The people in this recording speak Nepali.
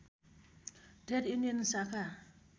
ट्रेड युनियन शाखा